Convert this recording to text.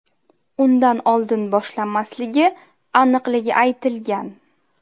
Undan oldin boshlanmasligi aniqligi aytilgan.